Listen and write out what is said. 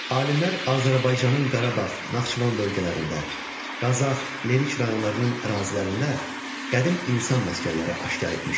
Alimlər Azərbaycanın Qarabağ, Naxçıvan bölgələrində, Qazax, Lerik rayonlarının ərazilərində qədim insan məskənləri aşkar etmişlər.